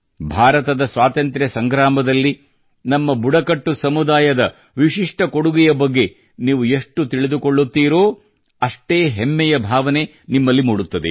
ಭಾರತದ ಸ್ವಾತಂತ್ರ್ಯ ಸಂಗ್ರಾಮದಲ್ಲಿ ನಮ್ಮ ಬುಡಕಟ್ಟು ಸಮುದಾಯದ ವಿಶಿಷ್ಟ ಕೊಡುಗೆಯ ಬಗ್ಗೆ ನೀವು ಎಷ್ಟು ತಿಳಿದುಕೊಳ್ಳುತ್ತೀರೋ ಅಷ್ಟೇ ಹಮ್ಮೆಯ ಭಾವನೆ ನಿಮ್ಮಲ್ಲಿ ಮೂಡುತ್ತದೆ